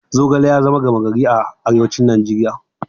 Zogale ya zama gama gari a arewacin Najeriya.